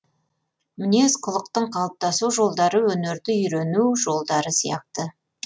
мінез кұлықтың қалыптасу жолдары өнерді үйрену жолдары сияқты